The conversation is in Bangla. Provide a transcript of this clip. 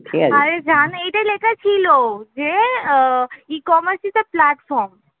এইটাই লেখা ছিল যে uh ecommerce is a platform